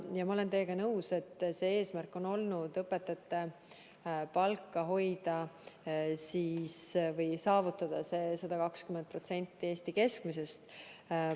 Ma olen teiega nõus, et eesmärk on olnud saavutada õpetajate palgaks 120% Eesti keskmisest palgast.